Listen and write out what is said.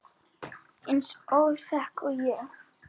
Eins óþæg og ég?